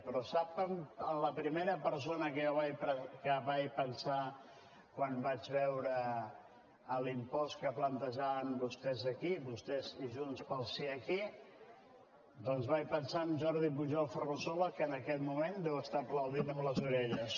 però sap la primera persona en què jo vaig pensar quan vaig veure l’impost que plantejaven vostès aquí vostès i junts pel sí aquí doncs vaig pensar en jordi pujol ferrusola que en aquest moment deu estar aplaudint amb les orelles